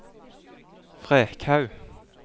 Frekhaug